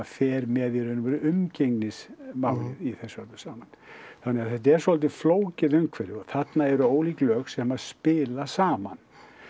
fer með í raun og veru umgengnismálið í þessu öllu saman þannig að þetta er svolítið flókið umhverfi og þarna eru ólík lög sem spila saman